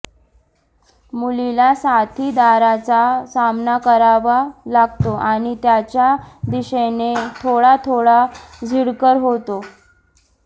मुलीला साथीदाराचा सामना करावा लागतो आणि त्याच्या दिशेने थोडा थोडा झिडकार होतो